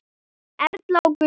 Erla og Gunnar.